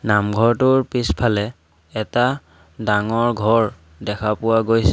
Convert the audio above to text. নামঘৰটোৰ পিছফালে এটা ডাঙৰ ঘৰ দেখা পোৱা গৈছে।